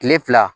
Kile fila